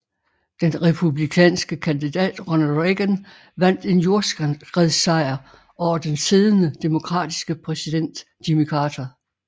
Den republikanske kandidat Ronald Reagan vandt en jordskredssejr over den siddende demokratiske præsident Jimmy Carter